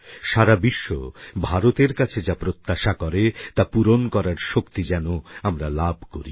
সারা বিশ্ব ভারতের কাছে যা প্রত্যাশা করে তা পূরণ করার শক্তি যেন আমরা লাভ করি